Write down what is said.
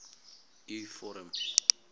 u vorm